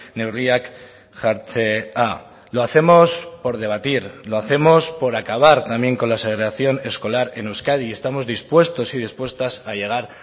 neurriak jartzea lo hacemos por debatir lo hacemos por acabar también con la segregación escolar en euskadi y estamos dispuestos y dispuestas a llegar